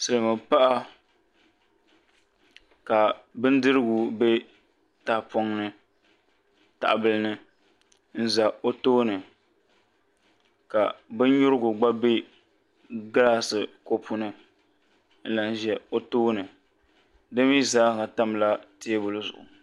silimiinpaɣa ka bindirigu be tahibila ni n za o tooni ka binnyurigu gba be gilaasi kɔpu ni n lahi za o tooni di mi zaa ha tamla teebuli zuɣu